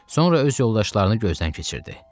Sonra öz yoldaşlarını gözdən keçirdi.